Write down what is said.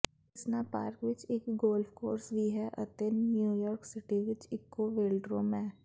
ਕਿਸਨਾ park ਵਿਚ ਇਕ golf course ਵੀ ਹੈ ਅਤੇ ਨਿਊਯਾਰਕ ਸਿਟੀ ਵਿਚ ਇਕੋ ਵੇਲਡਰੋਮ ਹੈ